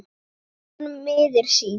spyr hann miður sín.